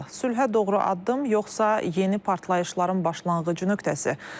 Sülhə doğru addım, yoxsa yeni partlayışların başlanğıc nöqtəsi?